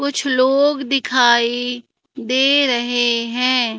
कुछ लोग दिखाई दे रहे हैं।